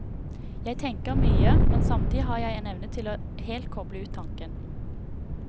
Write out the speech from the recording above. Jeg tenker mye, men samtidig har jeg en evne til å helt kople ut tanken.